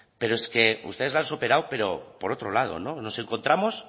pero es que ustedes lo han superado pero por otro lado no nos encontramos